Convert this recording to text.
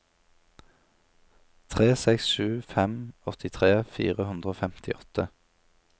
tre seks sju fem åttitre fire hundre og femtiåtte